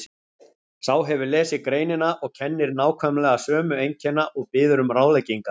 Sá hefur lesið greinina og kennir nákvæmlega sömu einkenna og biður um ráðleggingar